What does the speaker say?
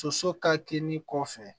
Soso ka kini kɔfɛ